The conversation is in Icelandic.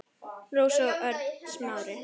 Rósa og Örn Smári.